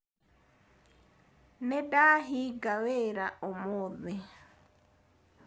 Nĩndahinga wĩra ũmũthĩ.